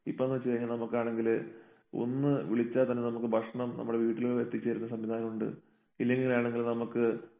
ഇപ്പോന്ന് വെച്ച് കഴിഞ്ഞാൽ നമുക്കാണെങ്കില് ഒന്ന് വിളിച്ചാൽ തന്നെ നമുക്ക് ഭക്ഷണം നമ്മുടെ വീട്ടില് എത്തിച്ച് തരുന്ന സംവിധാനമുണ്ട്. ഇല്ലെങ്കിലാണെങ്കില് നമുക്ക്